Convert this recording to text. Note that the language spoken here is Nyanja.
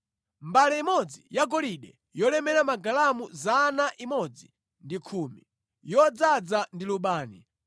mbale imodzi yagolide yolemera magalamu 110, yodzaza ndi lubani;